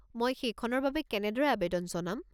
মই সেইখনৰ বাবে কেনেদৰে আৱেদন জনাম?